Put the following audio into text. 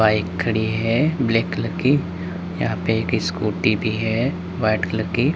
Bike खड़ी है black colour की। यहां पे एक स्कूटी भी है व्हाइट कलर की।